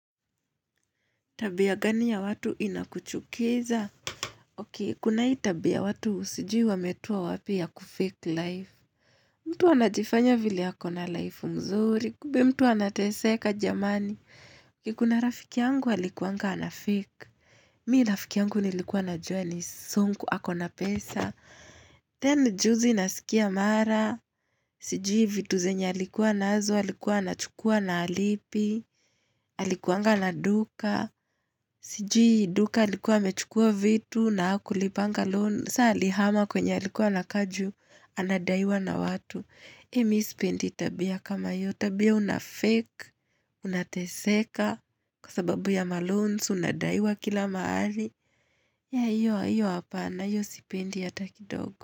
Tabia gani ya watu inakuchukiza? Okay, kuna hii tabia watu sijui wametoa wapi ya kufake life. Mtu anajifanya vile ako na life mzuri, kumbe mtu anateseka jamani. Okay kuna rafiki yangu alikuanga anafake. Mimi rafiki yangu nilikuwa najua ni sonko, ako na pesa. Then juzi nasikia mara. Sijui vitu zenya alikuwa nazo, alikuwa anachukua na alipi. Alikuanga na duka. Sijui duka alikuwa amechukua vitu na hakulipanga loan sasa alihama kwenye alikuwa anakaa juu anadaiwa na watu mimi sipendi tabia kama hiyo tabia una fake unateseka kwa sababu ya maloans unadaiwa kila mahali ya hiyo hiyo apana hiyo sipendi hata kidogo.